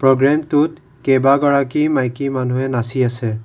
প্ৰগ্ৰেমটোত কেইবা গৰাকী মাইকী মানুহে নাচি আছে।